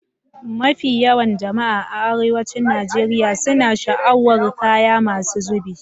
mafi yawan jama'a a arewancin Nigeriya suna sha'awarar kaya masu zubi